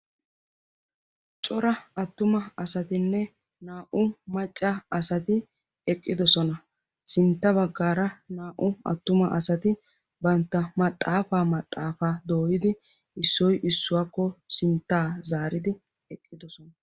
Cora attuma asatinne naa"u macca asati eqqidosona sintta baggaara naa"u attuma asati bantta maxaafaa maxaafaa dooyidi issoy issuwaakko sinttaa zaaridi eqqidosona.